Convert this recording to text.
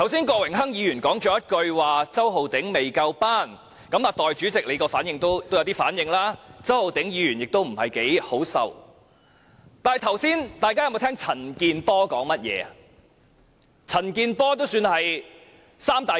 郭榮鏗議員剛才說周浩鼎議員"未夠班"，代理主席有些反應，周浩鼎議員也不太好受，但大家剛才有否聽到陳健波議員說甚麼？